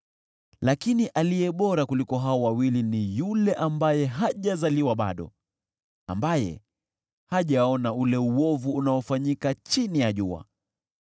Lakini aliye bora kuliko hao wawili ni yule ambaye hajazaliwa bado, ambaye hajaona ule uovu unaofanyika chini ya jua.